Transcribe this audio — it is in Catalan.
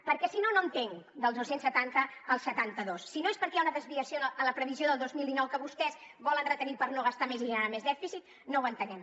perquè si no no entenc dels dos cents i setanta als setanta dos si no és perquè hi ha una desviació en la previsió del dos mil dinou que vostès volen retenir per no gastar més i generar més dèficit no ho entenem